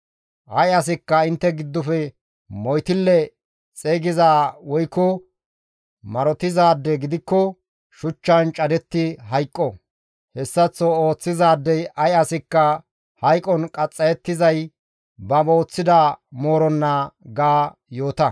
« ‹Ay asikka intte giddofe moytille xeygizaa woykko marotizaade gidikko izi shuchchan cadetti hayqo; hessaththo ooththizaadey ay asikka hayqon qaxxayettizay ba ooththida mooronna› ga yoota.»